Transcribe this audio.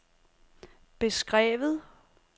beskrevet